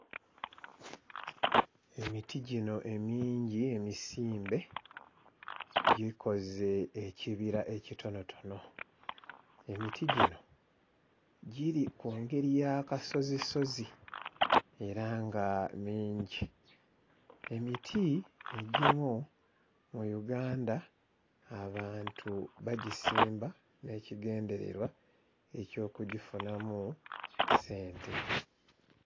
Emiti gino emingi emisimbe gikoze ekibira ekitonotono. Emiti gino giri ku ngeri y'akasozisozi era nga mingi. Emiti egimu mu Uganda abantu bagisimba n'ekigendererwa eky'okugifunamu ssente.